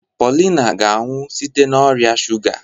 Paulina ga-anwụ site n'ọrịa shuga.